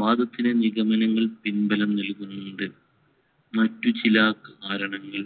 വാദത്തിന് നിഗമനങ്ങൾ പിൻബലം നൽകുന്നുണ്ട്. മറ്റു ചില കാരണങ്ങൾ.